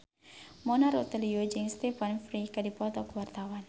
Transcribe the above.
Mona Ratuliu jeung Stephen Fry keur dipoto ku wartawan